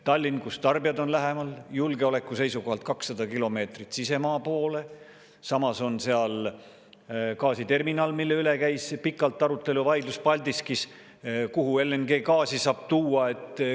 Tallinnas on tarbijad lähemal, julgeoleku seisukohalt 200 kilomeetrit sisemaa poole, samas on seal Paldiskis gaasiterminal, mille üle käis pikalt arutelu ja vaidlus, kuhu LNG-d saab tuua.